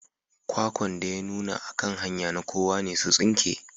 Kwakwan da ya nuna a kan hanya na kowa ne su tsinke.